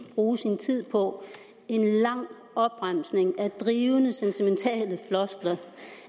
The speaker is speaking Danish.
bruge sin tid på en lang opremsning af drivende sentimentale floskler